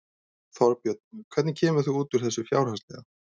Þorbjörn: Hvernig kemur þú út úr þessu fjárhagslega?